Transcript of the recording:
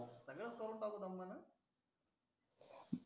सगडच करू टाकू दमा न अं